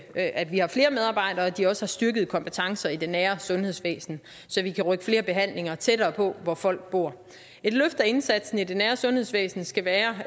at at vi har flere medarbejdere og at de også har styrkede kompetencer i det nære sundhedsvæsen så vi kan rykke flere behandlinger tættere på hvor folk bor et løft af indsatsen i det nære sundhedsvæsen skal være